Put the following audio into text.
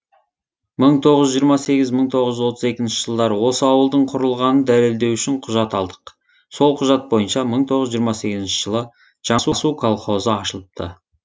мың тоғыз жүз жиырма сегізінші мың тоғыз жүз отыз екінші жылдары осы ауылдың құрылғанын дәлелдеу үшін құжат алдық сол құжат бойынша мың тоғыз жүз жиырма сегізінші жылы жаңасу колхозы ашылыпты